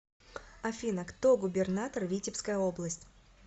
афина кто губернатор витебская область